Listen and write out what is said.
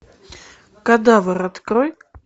кадавр открой